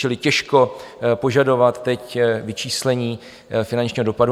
Čili těžko požadovat teď vyčíslení finančního dopadu.